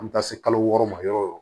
An bɛ taa se kalo wɔɔrɔ ma yɔrɔ yɔrɔ